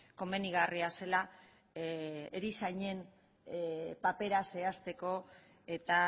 komenigarria zela erizainen papera zehazteko eta